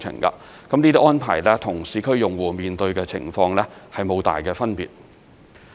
這些安排與市區用戶面對的情況無大分別。